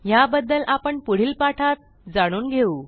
ह्याबद्दल आपण पुढील पाठात जाणून घेऊ